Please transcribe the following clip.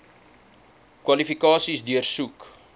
kwalifikasies deursoek